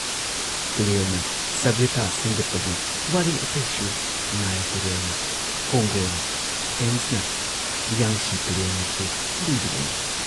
ꯇꯨꯔꯦꯜꯅ ꯁꯚ꯭ꯌꯇꯥ ꯁꯦꯝꯒꯠꯄꯒꯤ ꯋꯥꯔꯤ ꯑꯇꯩꯁꯨ ꯅꯥꯏꯜ ꯇꯨꯔꯦꯜꯅ, ꯀꯣꯡꯒꯣꯅ, ꯊꯦꯝꯁꯅ, ꯌꯥꯡꯁꯤ ꯇꯨꯔꯦꯜꯅꯁꯨ ꯂꯤꯔꯤꯕꯅꯤ ꯫